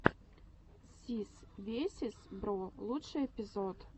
сис весиз бро лучший эпизод